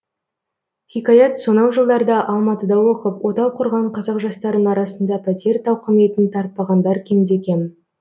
хикаят сонау жылдарда алматыда оқып отау құрған қазақ жастарының арасында пәтер тауқыметін тартпағандар кемде кем